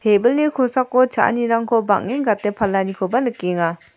tebilni kosako cha·anirangko bang·en gate palanikoba nikenga.